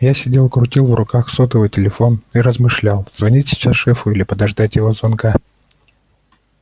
я сидел крутил в руках сотовый телефон и размышлял звонить сейчас шефу или подождать его звонка